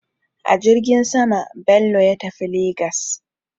A jirgin sama Bello ya tafi Legas.